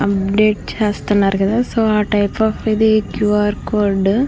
చేస్తున్నారు కదా సో ఆ టైపు ఇది క్యూ ఆర్ కోడ్ .